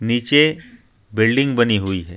नीचे बिल्डिंग बनी हुई है.